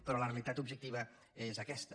però la realitat objectiva és aquesta